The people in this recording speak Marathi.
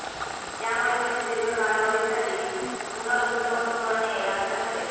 त्यामुळे तुम्ही दीर्घ कालावधीसाठी पुनर्गुंतवणूक करणे रास्त ठरेल